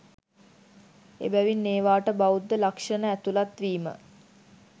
එබැවින් ඒවාට බෞද්ධ ලක්ෂණ ඇතුළත් වීම